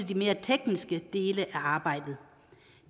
de mere tekniske dele af arbejdet